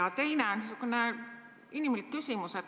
Ja teine on niisugune inimlik küsimus.